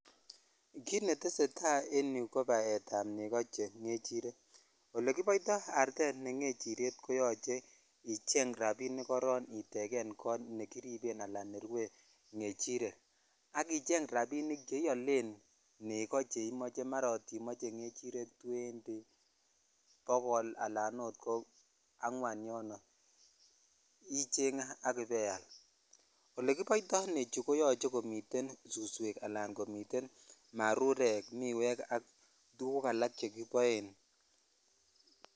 Kit netesetai ko baet ab neko che ngerirek olekibotoi artet ne ngechiryet koyoche icheng rabinik koron itegen kot nekiripen ala nerue ngechirek ak icheng rabinik che iolen neko che imoe mara kot imoche ngechiret twenty ,bokol alan ot kwengwan yon icheng ak ibaial. olekiboitonechu koyoche komiten suswek ala komiten marurek ,miwek ak tuguk alak chekiripen .